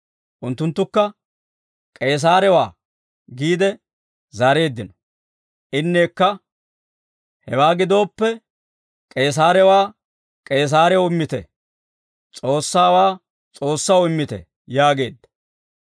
Unttunttukka, «K'eesaarewaa» giide zaareeddino. Inneekka, «Hewaa gidooppe: K'eesaarewaa, K'eesaarew immite; S'oossaawaa, S'oossaw immite» yaageedda.